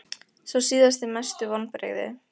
Sá síðasti Mestu vonbrigði?